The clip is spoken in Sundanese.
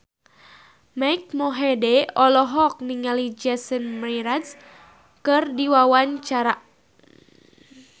Mike Mohede olohok ningali Jason Mraz keur diwawancara